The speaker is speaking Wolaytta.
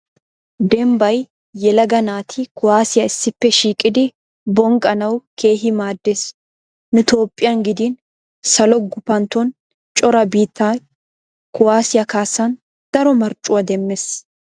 Dembbay yelaga naati kuwaasiya issippe shiiqidi bonqqanawu keehi maaddes. Nu toophphiyan gidin salo gupantton cora biittay kuwaasiya kaassan daro marccuwa demmes.